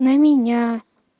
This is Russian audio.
на меня